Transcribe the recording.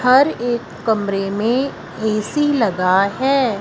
हर एक कमरे में ए_सी लगा हैं।